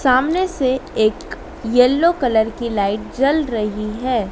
सामने से एक येलो कलर की लाइट जल रही है।